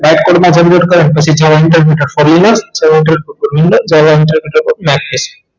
ફરી ને નાખે છે